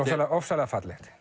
ofsalega fallegt